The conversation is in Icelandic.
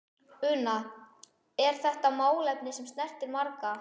Una, er þetta málefni sem snertir marga?